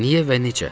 Niyə və necə?